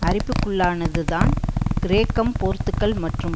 அரிப்புக்குள்ளானதுதான் கிரேக்கம் போர்த்துகல் மற்றும்